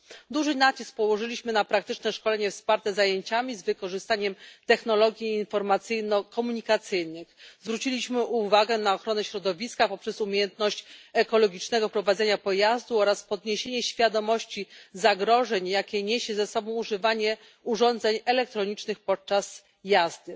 Duży nacisk położyliśmy na praktyczne szkolenie wsparte zajęciami z wykorzystaniem technologii informacyjno komunikacyjnych. Zwróciliśmy uwagę na ochronę środowiska poprzez umiejętność ekologicznego prowadzenia pojazdu oraz podniesienie świadomości zagrożenia, jakie niesie ze sobą używanie urządzeń elektronicznych podczas jazdy.